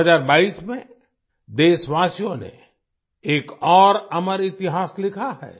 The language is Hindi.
2022 में देशवासियों ने एक और अमर इतिहास लिखा है